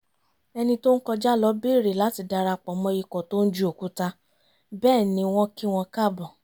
ẹni tó ń kọjá lọ bèrè láti darapọ̀ mọ́ ikọ̀ tóń ju òkúta bẹ́ẹ̀ ni wọ́n kí wọn káàbọ̀